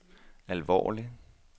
alvorlig